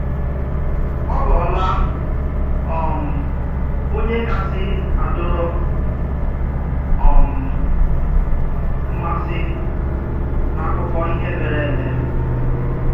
Ọ ghọọ́là um ònyé kàsị́ adòrò um m̀àsì n’ákụ́kọ̀ ìhè mèrè èmè.